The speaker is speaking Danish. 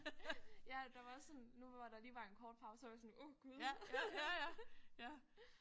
Ja der var også sådan nu hvor der lige var en kort pause så var jeg sådan åh Gud